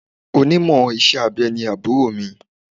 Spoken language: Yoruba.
Onímọ̀ iṣẹ́ abẹ ni àbúrò mi.